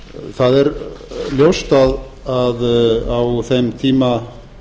það er ljóst að á þeim tíma